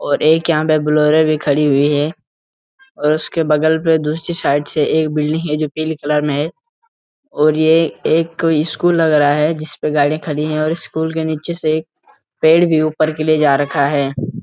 और एक यहाँ पे बोलेरो भी खड़ी हुई है और उसके बगल में दूसरी साईड से एक बिल्डिंग है जो पीले कलर में है और ये एक स्‍कूल लग रहा है जिसपे गाड़िया खड़ी हैं और स्‍कूल के नीचे से पेड़ भी ऊपर की लिए जा रखा है।